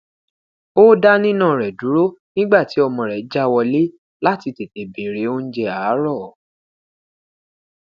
o da nina rẹ duro nigba ti ọmọ rẹ ja wọle lati tete bere ounjẹ aarọ